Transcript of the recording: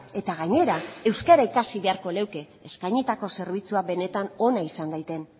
eta gainera euskara ikasi beharko leuke eskainitako zerbitzua benetan ona izan daiten